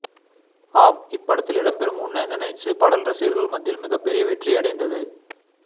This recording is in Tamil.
ஆம் இப்படத்தில் இடப்பெறும் உண்ண நினைச்சு பாடல் ரசிகர்கள் மத்தியில் மிக பெரிய வெற்றியடைந்தது